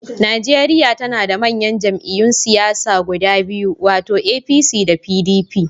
Najeriya na da manyan jam'iyyun siyasa guda biyu, wato APC da PDP.